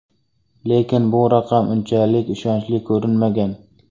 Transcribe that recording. Lekin bu raqam unchalik ishonchli ko‘rinmagan.